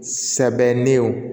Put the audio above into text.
Sɛbɛdenw